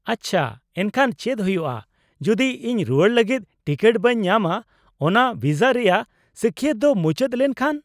-ᱟᱪᱪᱟ, ᱮᱱᱠᱷᱟᱱ ᱪᱮᱫ ᱦᱩᱭᱩᱜᱼᱟ ᱡᱩᱫᱤ ᱤᱧ ᱨᱩᱣᱟᱹᱲ ᱞᱟᱜᱤᱫ ᱴᱤᱠᱤᱴ ᱵᱟᱹᱧ ᱧᱟᱢᱟ ᱚᱱᱟ ᱵᱷᱤᱥᱟ ᱨᱮᱭᱟᱜ ᱥᱟᱹᱠᱷᱭᱟᱹᱛ ᱫᱚ ᱢᱩᱪᱟᱹᱫ ᱞᱮᱱ ᱠᱷᱟᱱ ?